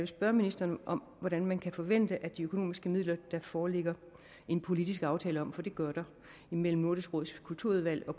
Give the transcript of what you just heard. spørge ministeren om hvordan man kan forvente at de økonomiske midler der foreligger en politisk aftale om for det gør der mellem nordisk råds kulturudvalg og